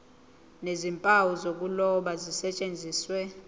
nezimpawu zokuloba zisetshenziswe